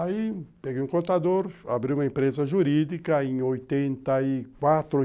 Aí peguei um contador, abri uma empresa jurídica em oitenta e quatro